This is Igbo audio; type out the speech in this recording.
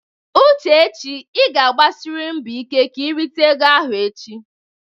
Uchechi ị ga-agbasiriri mbọ ike ka i rite ego ahụ echi!